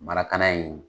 in